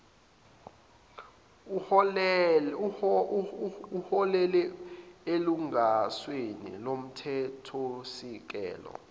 uholele elungelweni lomthethosisekelo